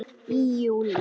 Í júlí